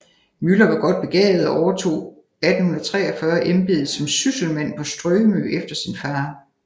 Müller var godt begavet og overtog 1843 embedet som sysselmand på Strømø efter sin far